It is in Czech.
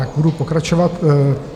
Tak budu pokračovat.